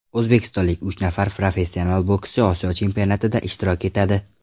O‘zbekistonlik uch nafar professional bokschi Osiyo chempionatida ishtirok etadi.